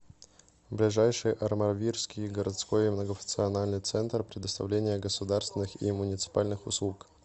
ближайший армавирский городской многофункциональный центр предоставления государственных и муниципальных услуг